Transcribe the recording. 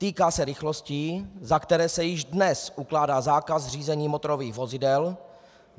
Týká se rychlostí, za které se již dnes ukládá zákaz řízení motorových vozidel.